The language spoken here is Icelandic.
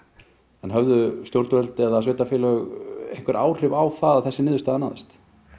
en höfðu stjórnvöld eða sveitarfélög einhver áhrif á að þessi niðurstaða náðist